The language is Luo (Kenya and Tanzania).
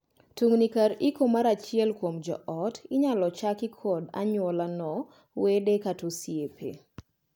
Tungni kar iko mar achiel kuom joot inyal chaki kod anyuolano, wede, kata osiepe.